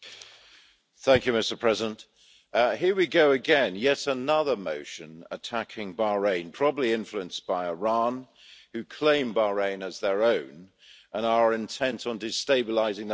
Mr President, here we go again yet another motion attacking Bahrain probably influenced by Iran, who claim Bahrain as their own and are intent on destabilising the whole Middle East.